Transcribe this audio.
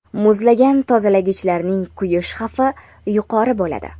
muzlagan tozalagichlarning kuyish xavfi yuqori bo‘ladi.